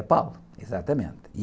É, exatamente.